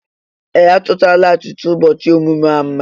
Ee! A chọchaala achịcha ụbọchị ọmụmụ ahụ mma.